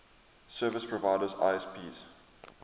service providers isps